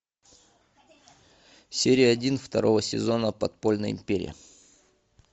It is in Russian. серия один второго сезона подпольная империя